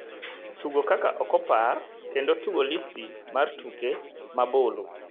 tugo kaka ok opar kendo tugo listi mar tuke ma bulu